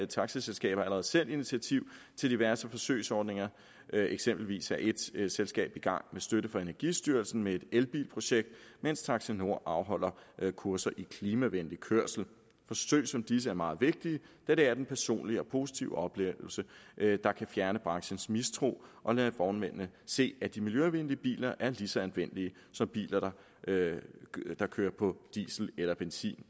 taxaselskaber allerede selv initiativ til diverse forsøgsordninger eksempelvis er et selskab i gang med støtte fra energistyrelsen med et elbilprojekt mens taxinord afholder kurser i klimavenlig kørsel forsøg som disse er meget vigtige da det er den personlige og positive oplevelse der kan fjerne branchens mistro og lade vognmændene se at de miljøvenlige biler er lige så anvendelige som biler der kører på diesel eller benzin